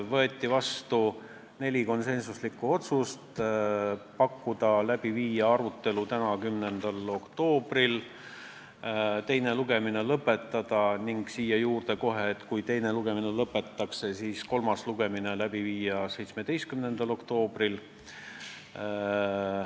Võeti vastu neli konsensuslikku otsust: pakkuda välja viia arutelu läbi täna, 10. oktoobril, teine lugemine lõpetada ning kui teine lugemine lõpetatakse, siis kolmas lugemine läbi viia 17. oktoobril.